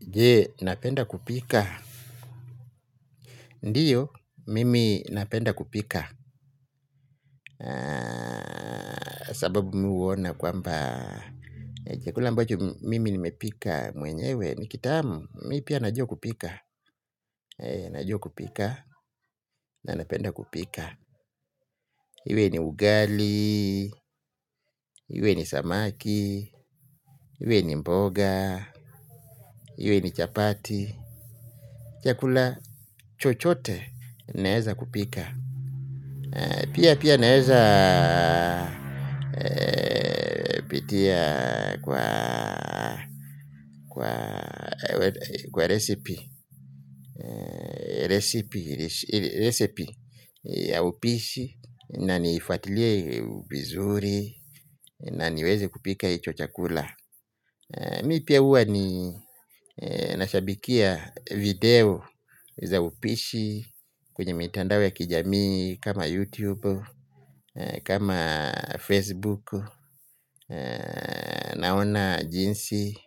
Je, napenda kupika. Ndiyo, mimi napenda kupika. Sababu mi huona kwamba chakula ambocho mimi nimepika mwenyewe. Ni kitamu, mi pia najua kupika. Najua kupika, na napenda kupika. Iwe ni ugali, iwe ni samaki, iwe ni mboga, iwe ni chapati. Chakula chochote naeza kupika. Pia pia naeza pitia kwa resipi ya upishi inanifatilie vizuri na niweze kupika icho chakula. Mi pia huwa ni nashabikia video za upishi kwenye mitandao ya kijami kama youtube kama facebook. Naona jinsi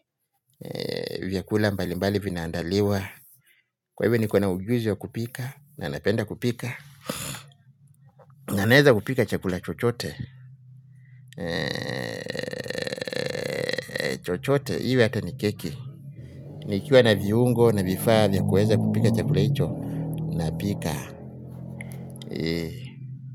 vyakula mbali mbali vinaandaliwa. Kwa hivyo niko na ujuzi wa kupika. Na napenda kupika. Na naeza kupika chakula chochote. Chochote iwe hata ni keki. Nikiwa na viungo na vifaa vyakueza kupika chakula hicho. Napika.